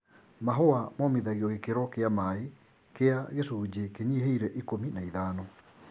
Mahũa momithagio gĩkĩro kĩa maĩ kĩa gĩcunjĩ kĩnyihĩire ikũmi na ithano.